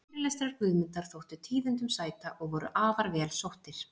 Fyrirlestrar Guðmundar þóttu tíðindum sæta og voru afar vel sóttir.